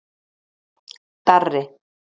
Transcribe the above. Darri